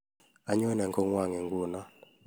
Anyone kongwong nguno